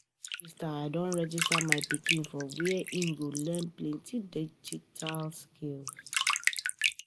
I don register I don register my pikin for where im go learn plenty digital skill.